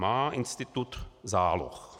Má institut záloh.